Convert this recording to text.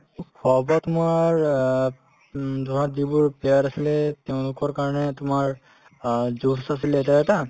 খোৱা-বোৱা তোমাৰ অ উম ধৰা যিবোৰ player আছিলে তেওঁলোকৰ কাৰণে তোমাৰ অ juice আছিলে এটা এটা